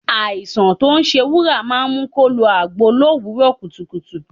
Àìsàn tí ó ń ṣe Wúrà máa ń mu kó lo agbo l'òwúrò kùtùkùtù.